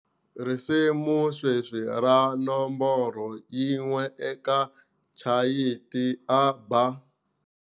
Risimu sweswi ra nomboro yin'we eka chati i" A Bar.